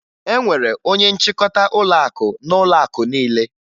E nwere onye nchịkọta ụlọakụ n'ụlọakụ niile